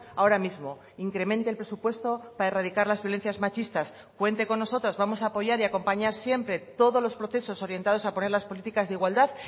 ahora mismo incremente el presupuesto para erradicar las violencias machistas cuente con nosotras vamos a apoyar y a acompañar siempre todos los procesos orientados a poner las políticas de igualdad